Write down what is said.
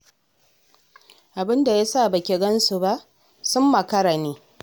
Abin da ya sa ba ki gan su ba, sun makara ne.